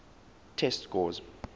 test scores